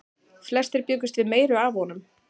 Flestir bjuggust við meiru af honum.